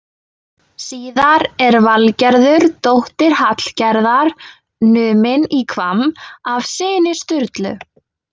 Síðar er Valgerður dóttir Hallgerðar numin í Hvamm af syni Sturlu.